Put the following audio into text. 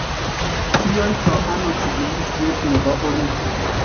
Kiyoitoi ano chigilisheet nepo oriit